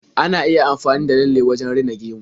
Ana iya amfani da lalle wajen rina gemu.